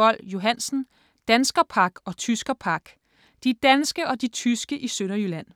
Boll-Johansen, Hans: Danskerpak og tyskerpak: de danske og de tyske i Sønderjylland